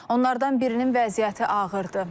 Onlardan birinin vəziyyəti ağırdır.